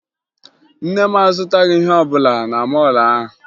Nne m azụtaghị ihe ọbụla na mọọlụ ahụ